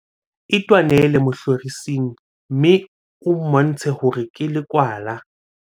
itwanele mohlorising mme o mmontshe hore ke lekwala